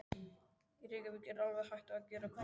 Í Reykjavík er alveg hætt að gera prufur.